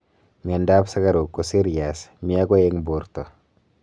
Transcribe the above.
mianda ap sugaruk koserias mii agoi eng porta